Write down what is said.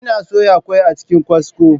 Ina soya ƙwai a cikin kwasko.